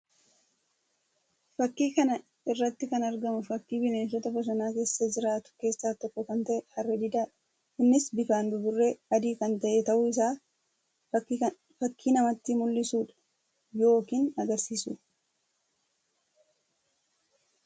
Fakkii kana irratti kan argamu fakkii bineensota bosonaa keessa jiraatu keessaa tokko kan tahe Harree Didaa dha. Innis bifaan buburree adii kan tahe tahuu isaa fakkii namatti mulliisuu dha yookiin agarsiisuu dha.